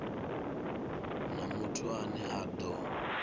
na muthu ane a do